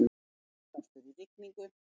Innblástur í rigningu